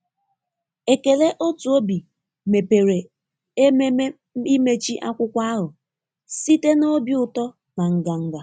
Ekele otu obi mepere ememe imechị akwụkwọ ahụ site na obi ụtọ na nganga.